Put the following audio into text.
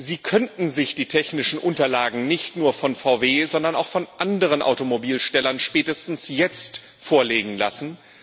Sie könnten sich die technischen Unterlagen nicht nur von VW, sondern auch von anderen Automobilherstellern spätestens jetzt vorlegen lassen.